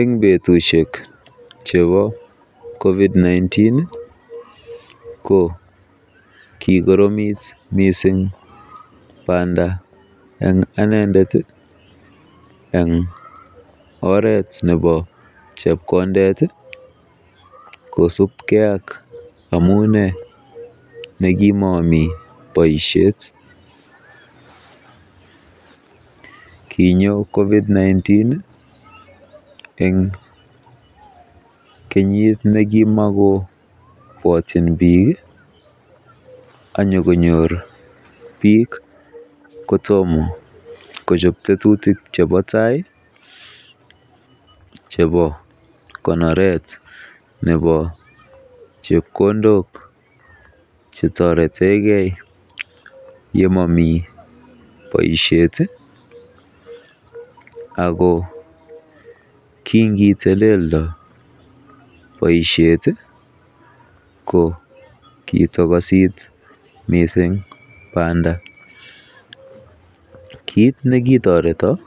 En betushek chebo covid-19 ko kikoromit mising banda en anendet en oret nebo chepkondet kosibge ak amune nekimomi boisiet. Kinyo covid-19 en kenyit ne kimokobwotyin biik ak konyor biik kotomo kochob tetutik chebo tai chebo konoret nebo chepkondok che toretenge ye momi boisiet ago kingiteleldo boisiet ko kitokosit mising banda. Kit ne kitoreton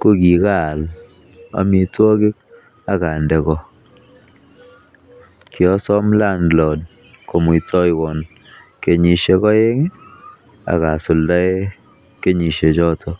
ko kigaal amitwogik ak ande ko, kiosom landlord komuitewon kenyisiek oeng ak asuldaenkenyisiek choton.